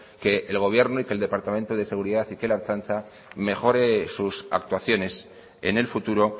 que el gobierno y que el departamento de seguridad y que la ertzaintza mejore sus actuaciones en el futuro